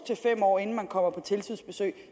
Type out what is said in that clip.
fem år inden der kommer tilsynsbesøg